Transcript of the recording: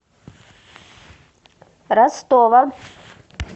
ростова